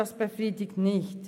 Das befriedigt nicht.